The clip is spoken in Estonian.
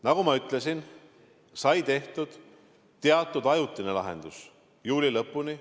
Nagu ma ütlesin, et sai tehtud teatud ajutine lahendus juuli lõpuni.